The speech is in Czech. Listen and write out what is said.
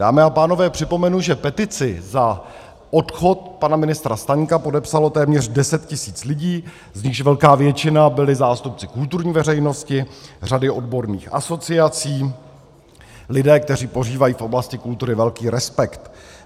Dámy a pánové, připomenu, že petici za odchod pana ministra Staňka podepsalo téměř 10 tisíc lidí, z nichž velká většina byli zástupci kulturní veřejnosti, řady odborných asociací, lidé, kteří požívají v oblasti kultury velký respekt.